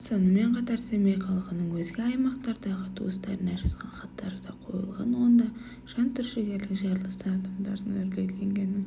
сонымен қатар семей халқының өзге аймақтардағы туыстарына жазған хаттары да қойылған онда жантүршігерлік жарылыстан адамдардың үрейленгені